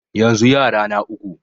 Yanzu yara na uku.